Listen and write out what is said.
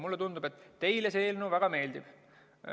Mulle tundub, et teile see eelnõu väga meeldib.